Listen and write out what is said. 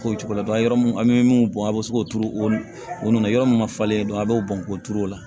K'o cogo la yɔrɔ min an bɛ min bɔn a bɛ se k'o turu o nunnu na yɔrɔ min ma falen dɔɔnin a b'o bɔn k'o turu o la